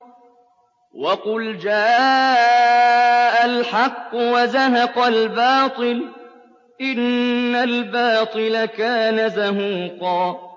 وَقُلْ جَاءَ الْحَقُّ وَزَهَقَ الْبَاطِلُ ۚ إِنَّ الْبَاطِلَ كَانَ زَهُوقًا